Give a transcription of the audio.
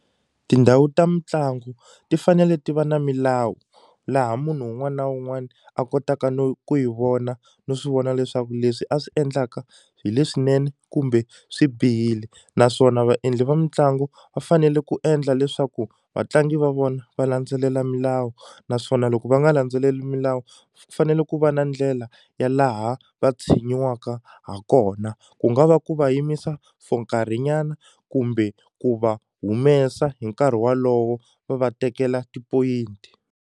Tindhawu ta mitlangu ti fanele ti va na milawu laha munhu wun'wana na wun'wana a kotaka no ku yi vona no swivona leswaku leswi a swi endlaka hi leswinene kumbe swi bihile naswona vaendli va mitlangu va fanele ku endla leswaku vatlangi va vona va landzelela milawu naswona loko va nga landzeleli milawu fanele ku va na ndlela ya laha va tshinyiwaka ha kona ku nga va ku va yimisa for nkarhinyana kumbe ku va humesa hi nkarhi walowo va va tekela tipoyinti.